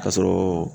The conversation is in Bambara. Ka sɔrɔ